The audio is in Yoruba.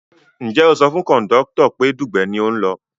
Ǹjẹ́ o sọ fún kọ̀ndọ́tọ̀ pé Dugbe ni ò ń lọ?